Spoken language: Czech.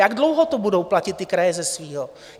Jak dlouho to budou platit ty kraje ze svého?